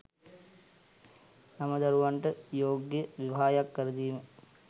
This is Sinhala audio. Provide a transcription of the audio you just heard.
තම දරුවන්ට යෝග්‍ය විවාහයක් කරදීම